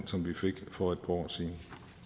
som vi fik for et par år siden